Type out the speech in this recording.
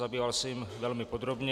Zabýval se jím velmi podrobně.